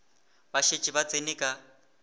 ba šetše ba tsene ka